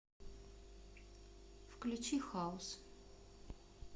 включи хаус